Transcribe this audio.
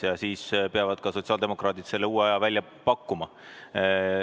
Ja siis peavad sotsiaaldemokraadid selle uue aja välja pakkuma.